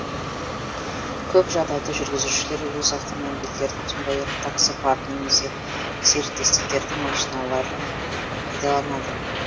көп жағдайда жүргізушілер өз автомобильдерін сондай ақ таксопарк немесе серіктестердің машиналарын пайдаланады